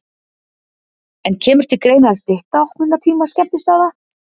En kemur til greina að stytta opnunartíma skemmtistaða?